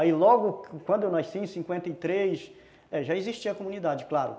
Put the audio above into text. Aí logo, quando eu nasci, em cinquenta e três, já existia a comunidade, claro.